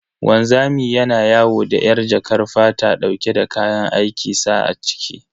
Wanzami yana yawo da yar jakar fata dauke da kayan aikin sa a ciki.